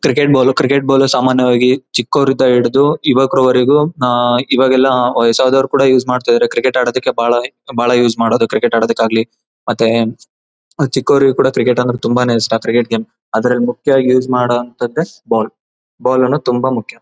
Cricket ball cricket ball ಸಾಮಾನ್ಯವಾಗಿ ಚಿಕ್ಕವರಿಂದ ಹಿಡಿದು ಯುವಕರುವರೆಗೂ ಆಹ್ಹ್ ಇವಾಗ ಎಲ್ಲ ವಯಸ್ಸು ಅದವರು ಕೂಡ ಯೂಸ್ ಮಾಡ್ತಾಯಿದ್ದರೆ ಕ್ರಿಕೆಟ್ ಆಡೋದಿಕ್ಕೆ ಬಹಳ ಬಹಳ ಯೂಸ್ ಮಾಡೋದು ಕ್ರಿಕೆಟ್ ಆಡೋದಿಕ್ಕೆ ಆಗ್ಲಿ ಮತ್ತೆ ಚಿಕ್ಕವರಿಗೂ ಕೂಡ ತುಂಬಾನೇ ಇಷ್ಟ ಕ್ರಿಕೆಟ್ ಗೇಮ್ ಅದರಲ್ಲಿ ಮುಖ್ಯವಾಗಿ ಯೂಸ್ ಮಾಡೋವಂತದ್ದು ಬಾಲ್ ಬಾಲ್ ಅನ್ನೋದು ತುಂಬಾನೇ ಮುಖ್ಯ.